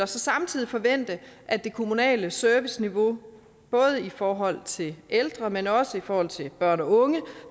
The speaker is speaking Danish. så samtidig forvente at det kommunale serviceniveau både i forhold til ældre men også i forhold til børn og unge er